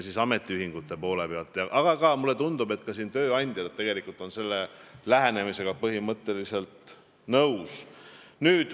Mulle tundub, et tööandjad on selle lähenemisega põhimõtteliselt nõus.